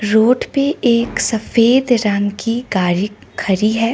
Road पे एक सफेद रंग की गाड़ी खड़ी है।